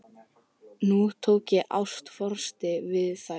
Nú tók ég ástfóstri við þær.